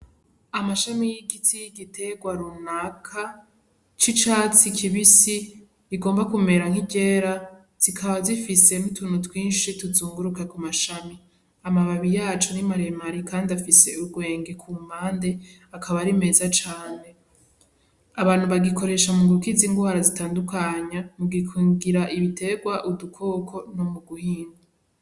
Amashami y'igiti y'igiterwa runaka c'icatsi kibisi rigomba kumera nk'igera zikaba zifise n'utuntu twinshi tuzunguruka ku mashami amababi yacu n'imaremari, kandi afise urwenge ku mande akaba ari meza cane. Abantu bagikoresha mu gukiza irwara zitandukanya mugukingira ibiterwa udukoko no mu guhinga.